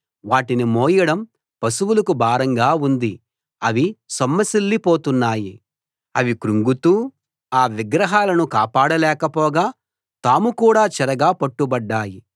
వాటిని మోయడం పశువులకు భారంగా ఉంది అవి సొమ్మసిల్లి పోతున్నాయి అవి క్రుంగుతూ తూలుతూ ఆ విగ్రహాలను కాపాడ లేక పోగా తాము కూడా చెరగా పట్టుబడ్డాయి